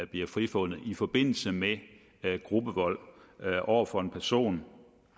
bliver frifundet i forbindelse med gruppevold over for en person